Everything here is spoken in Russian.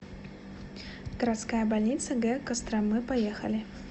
городская больница г костромы поехали